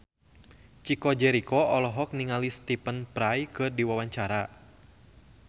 Chico Jericho olohok ningali Stephen Fry keur diwawancara